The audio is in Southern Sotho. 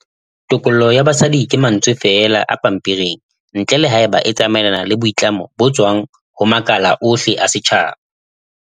Tokollo ya basadi ke mantswe feela a pampering ntle le haeba e tsamaelana le boitlamo bo tswang ho makala ohle a setjhaba.